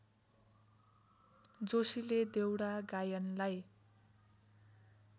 जोशीले देउडा गायनलाई